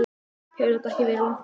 Hefur þetta ekki verið langt ferli?